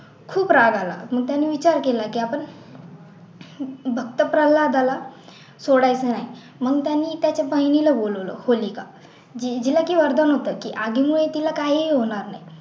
खूप राग आला मग त्याने विचार केला की आपण भक्त फ्तल्हादला सोडायचं नाही मग त्यांनी त्याच्या बहिणीला बोलवलं होलिका जिला की वरदान होतं अग्नी हाय तिला काही ही होणार नाही